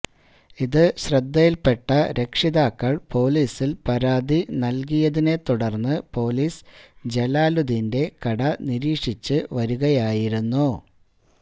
ഇത് ശ്രദ്ധയില്പ്പെട്ട രക്ഷിതാക്കള് പൊലിസില് പരാതി നല്കിയതിനെ തുടര്ന്ന് പൊലിസ് ജലാലുദ്ദീന്റെ കട നിരീക്ഷിച്ച് വരുകയായിരുന്നു